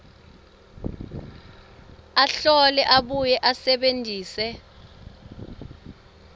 ahlole abuye asebentise